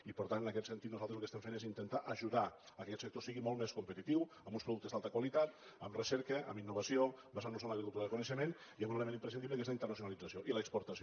i per tant en aquest sentit nosaltres el que estem fent és intentar ajudar que aquest sector sigui molt més competitiu amb uns productes d’alta qualitat amb recerca amb innovació basant nos en l’agricultura del coneixement i amb un element imprescindible que és la internacionalització i l’exportació